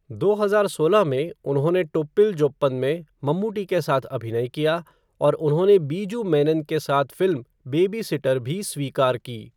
दो हजार सोलह में, उन्होंने टोप्पील जोप्पन में मम्मूट्टी के साथ अभिनय किया, और उन्होंने बीजू मेनन के साथ फ़िल्म बेबी सिटर भी स्वीकार की।